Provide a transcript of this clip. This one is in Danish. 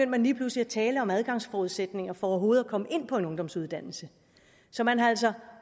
man lige pludselig at tale om adgangsforudsætninger for overhovedet at komme ind på en ungdomsuddannelse så man har altså